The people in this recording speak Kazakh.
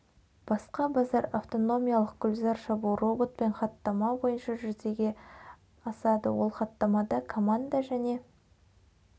басқа базар автономиялық гүлзар шабу роботпен хаттама бойынша жүзеге ашады ол хаттамада команда және